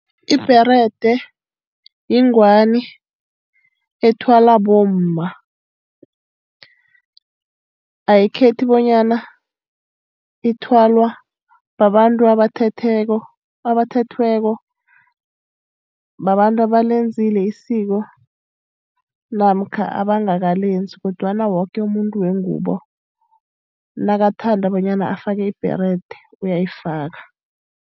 Ibherede yingwani ethwalwa bomma. Ayikhethi bonyana ithwalwa babantu abathethweko, babantu abalenzile isiko namkha abangakalenzi kodwana woke umuntu wengubo nakathanda bonyana afake ibherede uyayifaka.